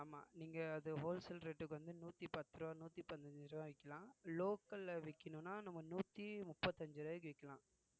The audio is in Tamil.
ஆமா நீங்க அது wholesale rate க்கு வந்து நூத்தி பத்து ரூவா நூத்தி பதினஞ்சு ரூபாய் விக்கலாம் local விக்கணும்னா நம்ம நூத்தி முப்பத்தஞ்சு ரூவாய்க்கு விக்கலாம்